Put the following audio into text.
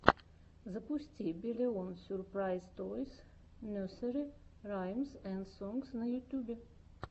запусти биллион сюрпрайз тойс несери раймс энд сонгс на ютьюбе